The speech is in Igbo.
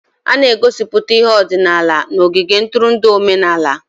A na-egosiputa ihe ọdịnala n'ogige ntụrụndụ omenala.